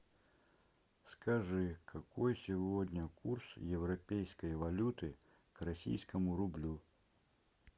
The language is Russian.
скажи какой сегодня курс европейской валюты к российскому рублю